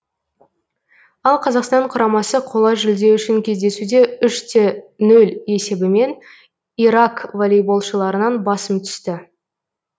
ал қазақстан құрамасы қола жүлде үшін кездесуде үш те нөл есебімен ирак волейболшыларынан басым түсті